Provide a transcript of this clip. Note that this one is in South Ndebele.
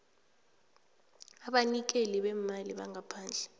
abanikeli beemali bangaphandle